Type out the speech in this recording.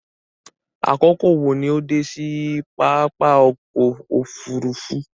Àkókò wo ni o dé sí papá ọkọ̀ òfurufú?